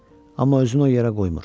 Amma özünü o yerə qoymur.